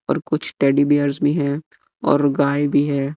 और कुछ टेडीबियर्स भी है और गाय भी है।